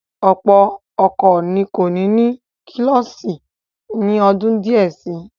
Ọ̀pọ̀ ọkọ̀ kò ní ní kílọ́ọ̀sì ni ọdún díẹ̀ si.